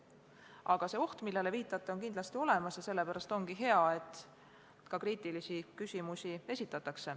Aga oht, millele te viitate, on kindlasti olemas ja sellepärast ongi hea, et esitatakse ka kriitilisi küsimusi.